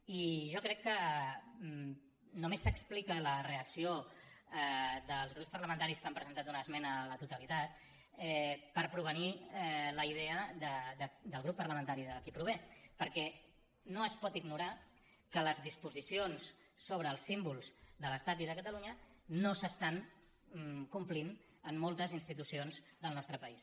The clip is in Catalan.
i jo crec que només s’explica la reacció dels grups parlamentaris que han presentat una esmena a la totalitat per provenir la idea del grup parlamentari de qui prové perquè no es pot ignorar que les disposicions sobre els símbols de l’estat i de catalunya no s’estan complint en moltes institucions del nostre país